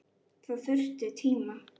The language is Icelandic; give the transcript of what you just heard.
Það þurfti tíma.